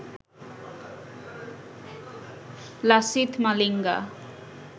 Lasith Malinga